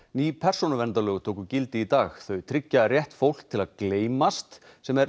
ný persónuverndar lög tóku gildi í dag þau tryggja rétt fólks til að gleymast sem